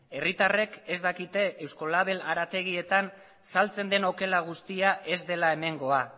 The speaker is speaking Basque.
herritarrek ez dakite euskolabel harategietan saltzen den okela guztia ez dela hemengoa